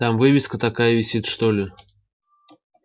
там вывеска такая висит что ли